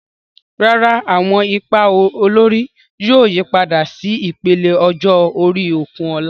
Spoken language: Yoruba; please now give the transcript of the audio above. Rárá, àwọn ipa olórí yóò yípadà sí ìpele ọjọ́ orí Okunola.